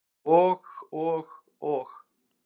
Og og og.